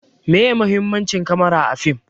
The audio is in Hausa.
Meye muhimmanci kamara a fim?